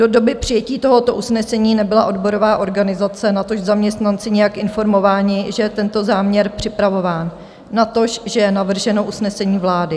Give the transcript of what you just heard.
Do doby přijetí tohoto usnesení nebyla odborová organizace, natož zaměstnanci nijak informováni, že je tento záměr připravován, natož že je navrženo usnesení vlády.